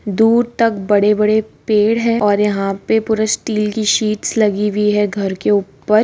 दूर तक बड़े-बड़े पेड़ है और यहाँ पे पूरे स्टील‌ की शीट्स लगी हुई है घर के ऊपर।